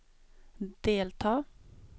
delta